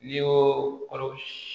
N'i y'o kɔrɔ